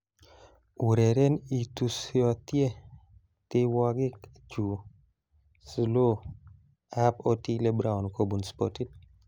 Ureren itusotie tiewogik chu 'slow' ab Otile Brown kobun spotit